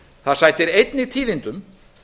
það sætir einnig tíðindum